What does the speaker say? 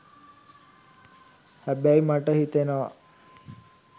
හැබැයි මට හිතෙනව